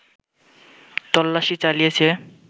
তল্লাশি চালিয়েছে